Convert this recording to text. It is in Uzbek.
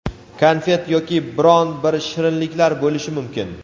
konfet yoki biron bir shirinliklar bo‘lishi mumkin.